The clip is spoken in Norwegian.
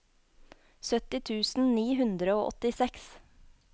sytti tusen ni hundre og åttiseks